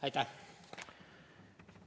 Aitäh!